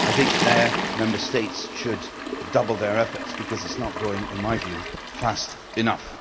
I think Member States should double their efforts because it is not going, in my view, fast enough.